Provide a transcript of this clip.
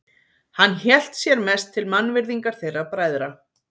Hann hélt sér mest til mannvirðingar þeirra bræðra.